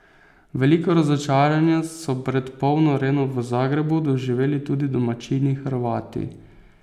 Veliko razočaranje so pred polno Areno v Zagrebu doživeli tudi domačini Hrvati.